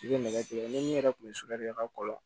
I bɛ nɛgɛ tigɛ ni min yɛrɛ kun bɛ sunɔgɔ kɛ i ka kɔlɔn